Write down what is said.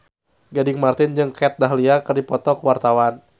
Gading Marten jeung Kat Dahlia keur dipoto ku wartawan